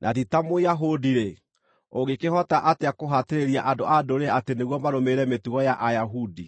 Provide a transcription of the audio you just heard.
na ti ta Mũyahudi-rĩ, ũngĩkĩhota atĩa kũhatĩrĩria andũ-a-Ndũrĩrĩ atĩ nĩguo marũmĩrĩre mĩtugo ya Ayahudi?